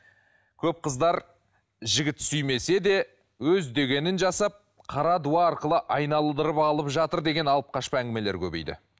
көп қыздар жігіт сүймесе де өз дегенін жасап қара дуа арқылы айналдырып алып жатыр деген алып қашпа әңгімелер көбейді